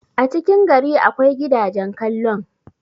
a cikin gari akwai gidagen kallon